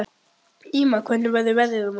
Ýma, hvernig verður veðrið á morgun?